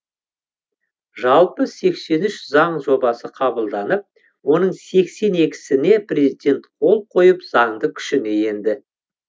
жалпы сексен үш заң жобасы қабылданып оның сексен екісіне президент қол қойып заңды күшіне енді